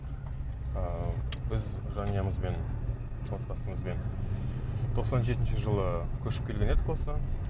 ыыы біз жанұямызбен отбасымызбен тоқсан жетінші жылы көшіп келген едік осы